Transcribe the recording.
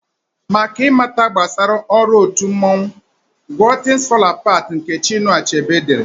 Maka ị mata gbasara ọrụ otu mmanwụ, gụọ 'things fall apart' nke Chinụa Achebe dere.